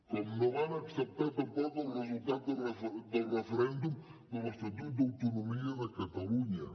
com no van acceptar tampoc el resultat del referèndum de l’estatut d’autonomia de catalunya